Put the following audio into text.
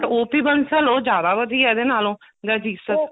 OP Bansal ਉਹ ਜਿਆਦਾ ਵਧੀਆ ਇਹਦੇ ਨਾਲੋਂ the Jesus